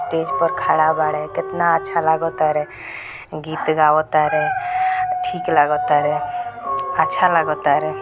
Stage पर खड़ा बाड़े कितना अच्छा लागता रे गीत गावता रे ठीक लागता रे अच्छा लागता रे ।